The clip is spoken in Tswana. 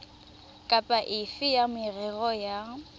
kapa efe ya merero ya